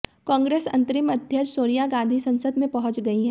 कांग्रेस अंतरिम अध्यक्ष सोनिया गांधी संसद में पहुंच गई हैं